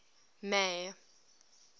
may